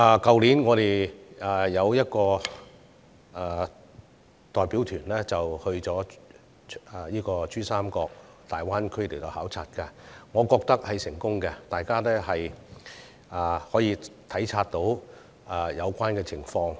去年，我們有一個代表團到珠江三角洲的大灣區考察，我覺得很成功，因為議員可以體察到有關情況。